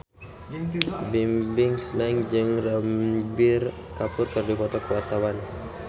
Bimbim Slank jeung Ranbir Kapoor keur dipoto ku wartawan